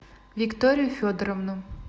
викторию федоровну